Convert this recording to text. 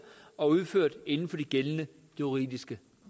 og udført inden for de gældende juridiske